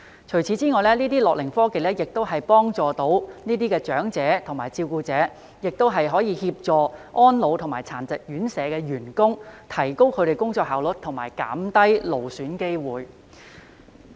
除此以外，這些樂齡科技除了能幫助這些長者和照顧者，亦可協助安老及殘疾院舍員工，提高他們的工作效率及減低勞損機會。